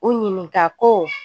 U ɲininka ko